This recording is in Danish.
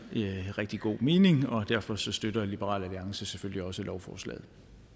rigtig god mening og derfor støtter liberal alliance selvfølgelig også lovforslaget